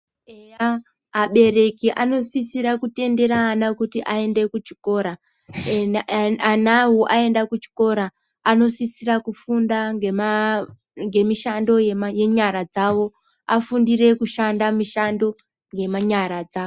Eya abereki anosisira kutendere ana kuti kuchikora ee anawo aenda kuchikora anosisira kufunda ngema ngemushando yema yenyara dzawo afundire kushanda mishando ngemanyara dzawo.